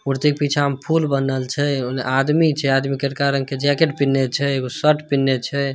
मूर्ति के पीछा में फूल बनल छे। ओने आदमी छे। आदमी करिका रंग के जैकेट पिहनने छे। एगो शर्ट पिहनने छे।